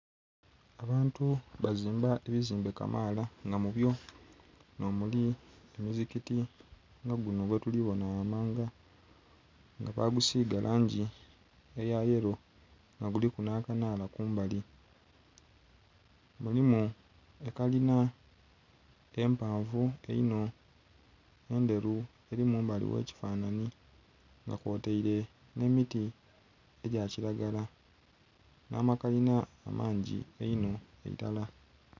Abantu bazimba ebizimbe kamaala nga mubyo n'omuli omizigiti nga guno gwetuli bona ghamanga nga bagusiiga langi eya yelo nga guliku n'akanaala kumbali. Mulimu ekalina empanvu einho endheru eli mumbali w'ekifanhanhi nga kwotaile n'emiti egya kiragala n'amakalina amangi einho irala.